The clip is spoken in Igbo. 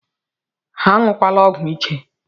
Anyukwana ọgwụ ike!!